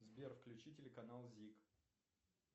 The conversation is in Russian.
сбер включи телеканал зик